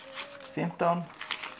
fimmtán